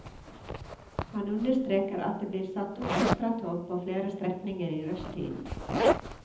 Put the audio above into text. Han understreker at det blir satt opp ekstratog på flere strekninger i rushtiden.